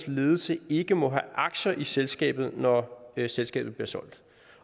ledelse ikke må have aktier i selskabet når selskabet bliver solgt